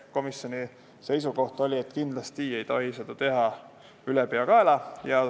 Komisjoni seisukoht oli, et kindlasti ei tohi seda teha ülepeakaela.